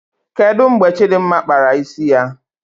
Kedụ mgbe Chidimma kpara isi ya?